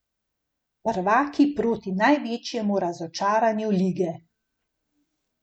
Prvaki proti največjemu razočaranju lige.